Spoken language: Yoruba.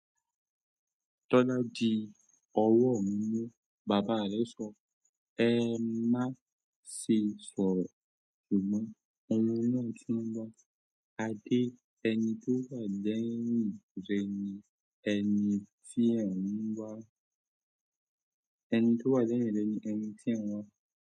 "Tọ́lá di ọwọ́ mí mú." Bàbá rẹ̀ sọ. "Ẹ má ṣe sọ̀rọ̀, ṣùgbọ́n ohun náà tún ń bá a dé. Ẹni tó wà lẹ́yìn rẹ ni ẹni tí ẹ̀ ń wá."